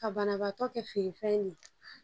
Ka banabaatɔ kɛ feere fɛn ye